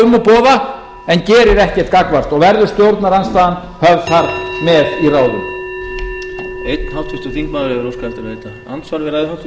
um og boða en gerir ekkert gagnvart og verður stjórnarandstaðan höfð þar með í ráðum